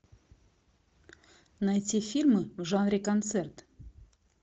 найти фильмы в жанре концерт